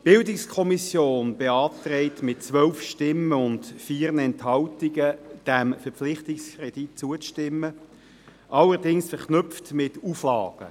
Die BiK beantragt mit 12 Stimmen und 4 Enthaltungen, diesem Verpflichtungskredit zuzustimmen, allerdings verknüpft mit Auflagen.